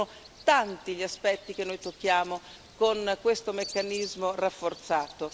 Quindi sono tanti gli aspetti che noi tocchiamo con questo meccanismo rafforzato.